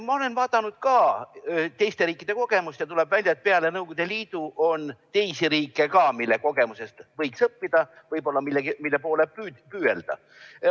Ma olen vaadanud ka teiste riikide kogemust ja tuleb välja, et peale Nõukogude Liidu on teisigi riike, mille kogemusest võiks midagi õppida, mille poole püüelda.